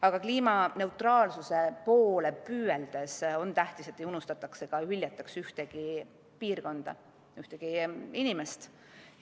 Aga kliimaneutraalsuse poole püüeldes on tähtis, et ei unustataks ega hüljataks ühtegi piirkonda, ühtegi inimest.